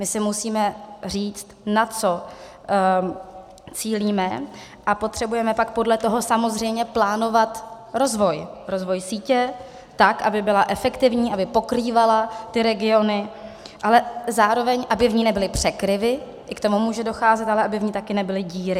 My si musíme říct, na co cílíme, a potřebujeme pak podle toho samozřejmě plánovat rozvoj, rozvoj sítě tak, aby byla efektivní, aby pokrývala ty regiony, ale zároveň aby v ní nebyly překryvy, i k tomu může docházet, ale aby v ní taky nebyly díry.